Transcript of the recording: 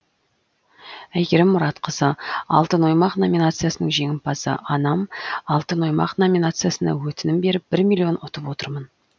әйгерім мұратқызы алтын оймақ номинациясының жеңімпазы анам алтын оймақ номинациясына өтінім беріп бір миллион ұтып отырмын